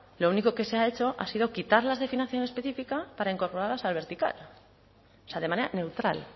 lo único que se ha hecho ha sido quitar las de financiación específica para incorporarlas al vertical o sea de manera neutral